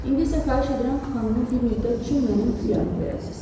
İndi isə xahiş edirəm xanımı bir müddət üçün mənim ixtiyarıma verəsiniz.”